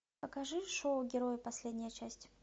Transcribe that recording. покажи шоу герои последняя часть